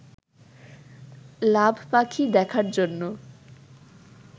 লাভ পাখি দেখার জন্য